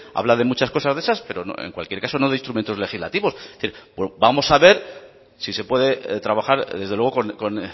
habla de muchas cosas de esas pero en cualquier caso no de instrumentos legislativos es decir vamos a ver si se puede trabajar desde luego con